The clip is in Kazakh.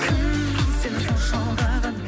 кім сені сонша алдаған